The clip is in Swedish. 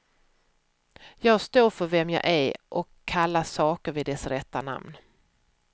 Jag står för vem jag är och kallar saker vid dess rätta namn.